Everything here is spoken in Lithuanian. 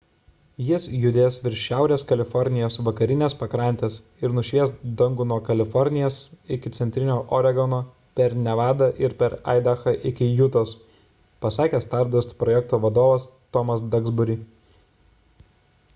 jis judės virš šiaurės kalifornijos vakarinės pakrantės ir nušvies dangų nuo kalifornijos iki centrinio oregono per nevadą ir aidahą iki jutos – pasakė stardust projekto vadovas tomas duxbury